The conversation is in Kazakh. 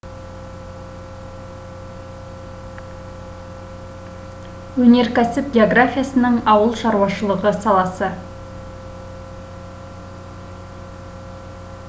өнеркәсіп географиясының ауыл шаруашылығы саласы